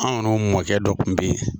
Anw yɛrɛ mɔkɛ dɔ tun bɛ yen